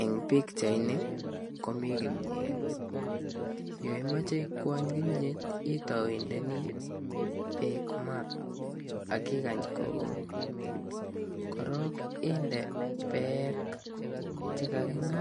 Eng pikchaini komi kimyet. Yo imache ikwany kimyet itau indeni bek maa, akikany kokut. Korok inde beek chekaking'a,